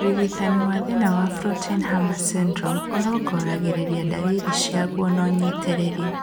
ũrigitani wa thĩna wa Floating Harbor syndrome ũrongoragĩria ndariri ciaguo na ũnyitĩrĩri